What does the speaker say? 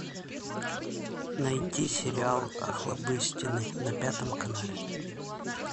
найти сериал охлобыстины на пятом канале